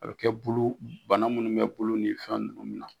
A bɛ kɛ bolo bana minnu bɛ bolo ni fɛn ninnu min na